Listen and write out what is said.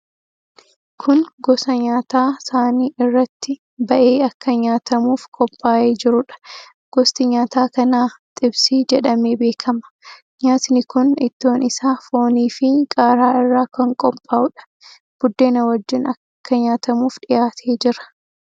Kun gosa nyaataa saanii irratti ba'ee akka nyaatamuuf qophaa'ee jiruudha. Gosti nyaata kanaa 'xibsii' jedhamee beekama. Nyaatni kun ittoon isaa fooniifi qaaraa irraa kan qophaa'uudha. Buddeena wajjin akka nyaatamuuf dhihaatee jira.